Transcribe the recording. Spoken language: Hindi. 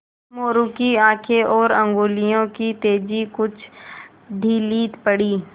मोरू की आँखें और उंगलियों की तेज़ी कुछ ढीली पड़ी